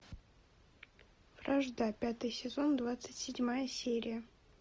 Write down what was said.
вражда пятый сезон двадцать седьмая серия